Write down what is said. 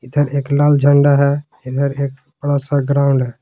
इधर एक लाल झंडा है इधर एक थोड़ा सा ग्राउंड है।